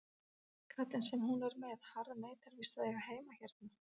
Kallinn sem hún er með harðneitar víst að eiga heima hérna.